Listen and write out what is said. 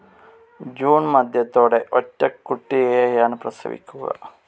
June മധ്യത്തോടെ ഒറ്റക്കുട്ടിയെയാണ് പ്രസവിക്കുക.